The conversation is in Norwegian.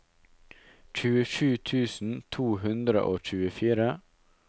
tjuesju tusen to hundre og tjuefire